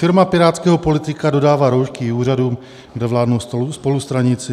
Firma pirátského politika dodává roušky i úřadům, kde vládnou spolustraníci.